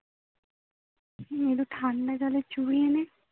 হম একটু ঠান্ডা জলে চুবিয়ে নে